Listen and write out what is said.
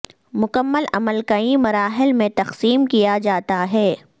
مکمل عمل کئی مراحل میں تقسیم کیا جاتا ہے